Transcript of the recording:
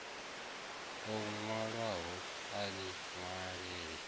o nwalwahoni a nwale e